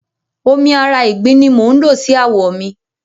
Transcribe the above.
Omi ara ìgbín ni mò ń lò sí àwọ̀ mi.